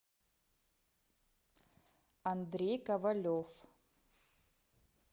андрей ковалев